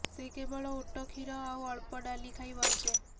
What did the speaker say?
ସେ କେବଳ ଓଟ କ୍ଷୀର ଆଉ ଅଳ୍ପ ଡାଲି ଖାଇ ବଞ୍ଚେ